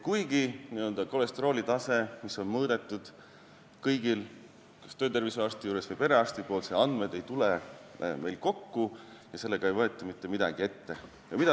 Kuigi kolesterooli taset on kõigil mõõdetud kas töötervishoiuarsti või perearsti juures, ei tule andmed ühte kohta kokku ja nendega ei võeta mitte midagi ette.